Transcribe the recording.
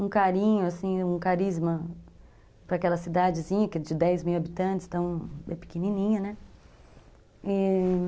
Um carinho, um carisma para aquela cidadezinha, que é de dez mil habitantes, então é pequenininha, né?